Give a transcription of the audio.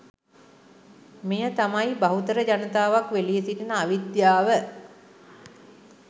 මෙය තමයි, බහුතර ජනතාවක් වෙලී සිටින අවිද්‍යාව.